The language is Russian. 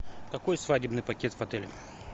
какой свадебный пакет в отеле